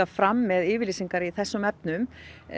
fram með yfirlýsingar í þessum efnum